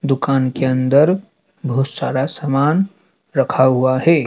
दुकान के अंदर बहुत सारा समान रखा हुआ है।